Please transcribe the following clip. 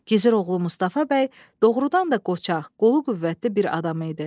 Gizir oğlu Mustafa bəy doğrudan da qoçaq, qolu qüvvətli bir adam idi.